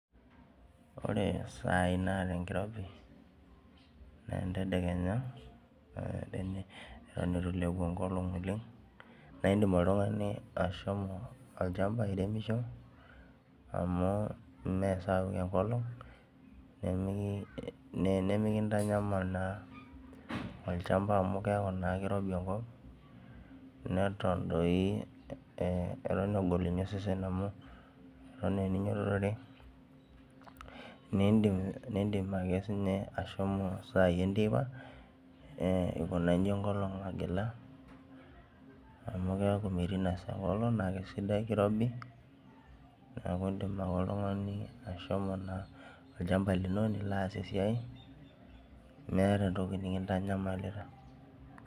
Ore sai naata enkirobi naa enyedekenya. eton eitu ilepu enkolong' oleng. naa idim oltungani ashomo olchampa airemosho, amu ime sapuk enkolong' nemikintanyal naa olchampa amu keeku naa kirobi enkop. neton doi egol osesen amu, Eton aa eninyiototore. nidim ake ashomo sai enteipa, ikuna iji enkolong' agila, amu keeku metii ina. saa enkolong' kirobi. Neeku idim ake oltungani aikuna olchampa lino. ake aas esiai. meeta entoki nikintanyamalita.